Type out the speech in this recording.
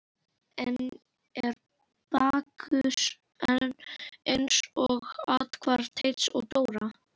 Enn er Bakkus eins og fyrr athvarf Teits og Dóra.